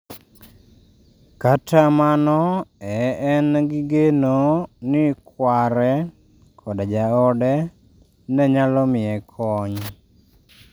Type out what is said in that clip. Kata mano e en gi geno ni kware koda jaode ne nyalo miye kony